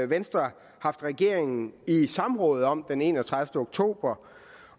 venstre haft regeringen i samråd om den enogtredivete oktober